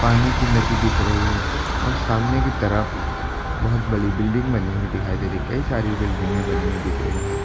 पानी की नदी दिख रही है और सामने की तरफ बहुत बड़ी बिल्डिंग बनी हुई दिखाई दे रही है। कई सारी बिल्डिंगे बनी हुई दिख रही है।